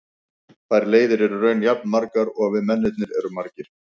Þær leiðir eru í raun jafn margar og við mennirnir erum margir.